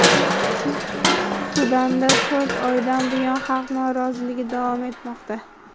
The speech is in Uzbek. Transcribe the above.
Sudanda to‘rt oydan buyon xalq noroziligi davom etmoqda.